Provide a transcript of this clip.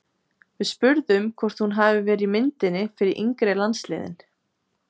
Við spurðum hvort hún hafi verið í myndinni fyrir yngri landsliðin?